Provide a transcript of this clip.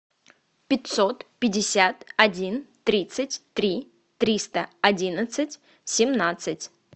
пятьсот пятьдесят один тридцать три триста одиннадцать семнадцать